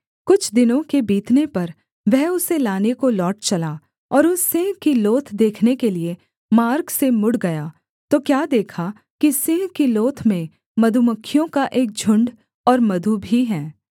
कुछ दिनों के बीतने पर वह उसे लाने को लौट चला और उस सिंह की लोथ देखने के लिये मार्ग से मुड़ गया तो क्या देखा कि सिंह की लोथ में मधुमक्खियों का एक झुण्ड और मधु भी है